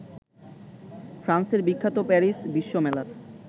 ফ্রান্সের বিখ্যাত প্যারিস বিশ্বমেলার